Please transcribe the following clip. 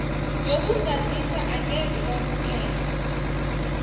yokuzazisa angeze kwamukelwa